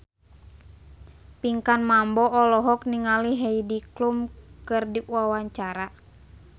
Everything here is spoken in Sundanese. Pinkan Mambo olohok ningali Heidi Klum keur diwawancara